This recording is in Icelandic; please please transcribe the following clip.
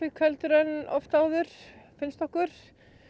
heldur en oft áður finnst okkur